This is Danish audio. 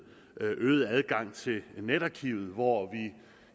øget adgang til netarkivet hvor